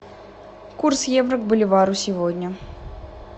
курс евро к боливару сегодня